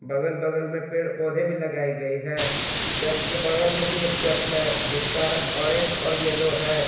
बगल बगल में पेड़ पौधे भी लगाई गई है चर्च के बगल में भी एक चर्च है जिसका रंग ऑरेंज और येलो है।